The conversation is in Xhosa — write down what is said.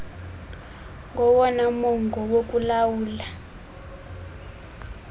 ngowona mongo wokulawula